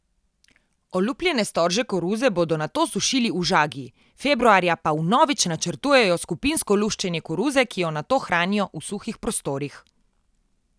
Olupljene storže koruze bodo nato sušili v žagi, februarja pa vnovič načrtujejo skupinsko luščenje koruze, ki jo nato hranijo v suhih prostorih.